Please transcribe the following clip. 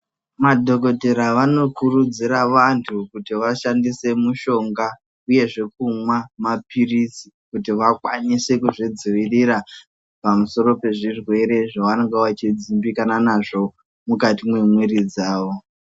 Madhokodheya vanokurudzira vantu kuti vashandise mushonga uyezve kumwa maphirizi kuti vakwanise kuzvidzivirira pamusoro pezvirwere zvavanonga veidzimbikana nazvo mukati mwemiri dzavo.